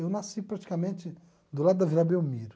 Eu nasci praticamente do lado da Vila Belmiro.